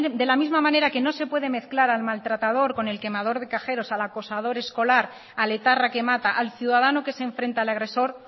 de la misma manera que no se puede mezclar al maltratado con el quemador de cajeros al acosador escolar al etarra que mata al ciudadano que se enfrenta al agresor